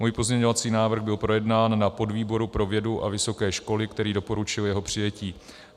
Můj pozměňovací návrh byl projednán na podvýboru pro vědu a vysoké školy, který doporučil jeho přijetí.